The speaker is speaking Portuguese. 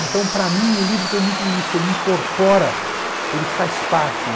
Então, para mim, o livro tem muito isso, ele incorpora, ele faz parte.